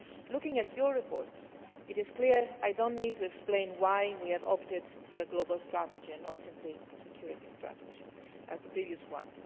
Looking at your report it is clear, and I do not need to explain why we have opted for a global strategy and not simply a security strategy like the previous one.